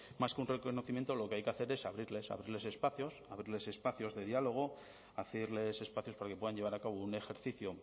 más que un reconocimiento lo que hay que hacer es abrirles abrirles espacios abrirles espacios de diálogo hacerles espacios para que puedan llevar a cabo un ejercicio